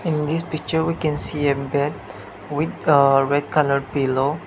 in this picture we can see a bed with uh red colour pillow.